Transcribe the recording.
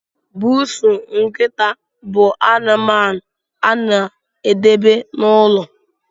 Bụụsụ, nkịta bụ anụmanụ a na edebe n'ụlọ